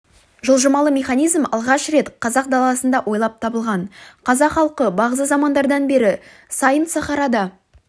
жылжымалы механизм алғаш рет қазақ даласында ойлап табылған қазақ халқы бағзы замандардан бері сайын сахарада